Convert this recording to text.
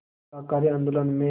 शाकाहारी आंदोलन में